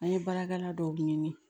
An ye baarakɛla dɔw ɲini